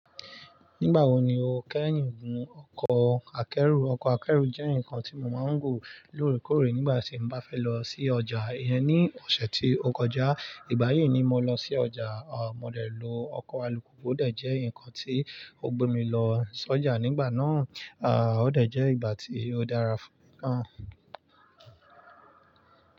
Nígbà wo ni o kẹ́yìn gun ọkọ̀ akẹ́rù? Ọkọ̀ akẹ́rù jẹ́ nǹkan tí mo máa ń gùn lóòrèkóòrè nígbà tí n bá fẹ́ lọ sí ọjà. Ìyẹn ni ọ̀sẹ̀ tí ó kọjá, ìgbà yìí ni mo lọ sí ọjà. À mo dẹ̀ lo ọkọ̀ alùpùpù. Ó dẹ̀ jẹ́ nǹkan tí ó gbé mi lọ sọ́jà nígbà náà. À, ó dẹ̀ jẹ́ ìgbà tí ó dára fún mi gan.